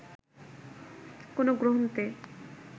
কোন গ্রন্থে